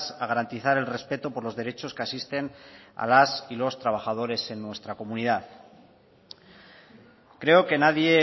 a garantizar el respeto por los derechos que asisten a las y los trabajadores en nuestra comunidad creo que nadie